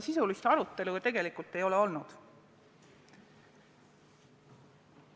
Sisulist arutelu ju tegelikult ei ole olnud.